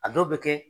A dɔw bɛ kɛ